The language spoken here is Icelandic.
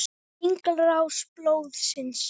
Hringrás blóðsins.